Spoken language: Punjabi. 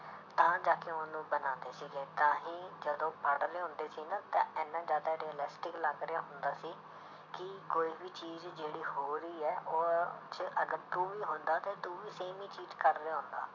ਤਾਂ ਜਾ ਕੇ ਉਹਨੂੰ ਬਣਾਉਂਦੇ ਸੀਗੇ ਤਾਂ ਹੀ ਜਦੋਂ ਪੜ੍ਹਦੇ ਹੁੰਦੇ ਸੀ ਨਾ ਤਾਂ ਇੰਨਾ ਜ਼ਿਆਦਾ realistic ਲੱਗ ਰਿਹਾ ਹੁੰਦਾ ਸੀ ਕਿ ਕੋਈ ਵੀ ਚੀਜ਼ ਜਿਹੜੀ ਹੋ ਰਹੀ ਹੈ ਉਹ 'ਚ ਅਗਰ ਤੂੰ ਵੀ ਹੁੰਦਾ ਤੇ ਤੂੰ ਵੀ same ਹੀ ਚੀਜ਼ ਕਰ ਰਿਹਾ ਹੁੰਦਾ।